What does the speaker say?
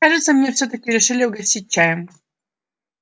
кажется мне всё-таки решили угостить чаем